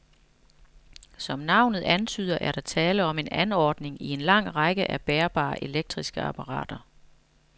Som navnet antyder, er der tale om en anordning i en lang række af bærbare elektriske apparater.